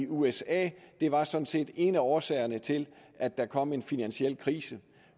usa det var sådan set en af årsagerne til at der kom en finansiel krise